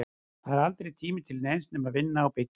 Það var aldrei tími til neins nema að vinna og byggja.